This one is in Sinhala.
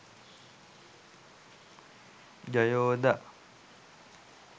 jayoda